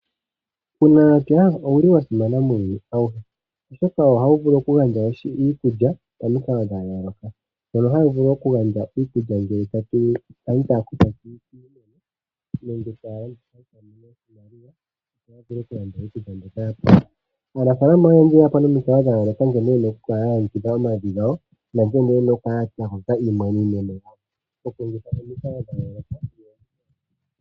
Uunamapya owuli wa simana muuyuni awuhe, oshoka ohawu vulu oku gandja iikulya momikalo dha yooloka mono hawu vulu oku gandja iikulya ngele aantu taya kutha kiimeno nenge taya landitha etaya mono oshimaliwa yo ya vule oku landa iikulya mbyoka ya pumbwa. Aanafalama oyendji oyeya po nomikalo dha yooloka nkene yena oku kalaya longekidha omavi gawo nankene yena oku kala ya kwata iimeno yawo moku longitha omikalo dha yooloka.